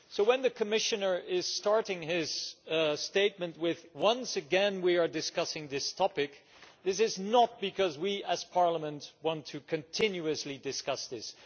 So when the Commissioner starts his statement with Once again we are discussing this topic', this is not because we as Parliament want to continuously discuss this.